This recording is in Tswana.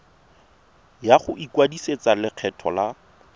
ya go ikwadisetsa lekgetho la